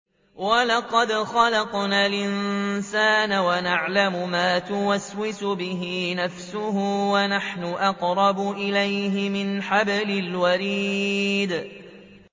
وَلَقَدْ خَلَقْنَا الْإِنسَانَ وَنَعْلَمُ مَا تُوَسْوِسُ بِهِ نَفْسُهُ ۖ وَنَحْنُ أَقْرَبُ إِلَيْهِ مِنْ حَبْلِ الْوَرِيدِ